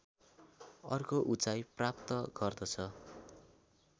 अर्को उचाइ प्राप्त गर्दछ